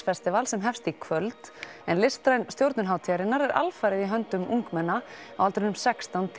festival sem hefst í kvöld en listræn stjórnun hátíðarinnar er alfarið í höndum ungmenna á aldrinum sextán